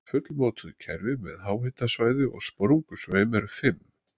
Fullmótuð kerfi með háhitasvæði og sprungusveim eru fimm.